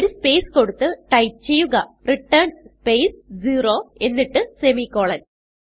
ഒരു സ്പേസ് കൊടുത്ത് ടൈപ്പ് ചെയ്യുക റിട്ടർൻ സ്പേസ് 0 എന്നിട്ട് സെമിക്കോളൻ